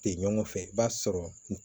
Tɛ ɲɔgɔn fɛ i b'a sɔrɔ